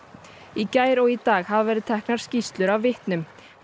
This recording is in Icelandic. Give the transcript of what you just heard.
í gær og í dag hafa verið teknar skýrslur af vitnum